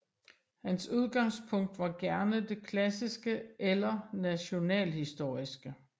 Hans udgangspunkt var gerne det klassiske eller nationalhistoriske